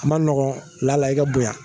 A man nɔgɔn laala i ka bonya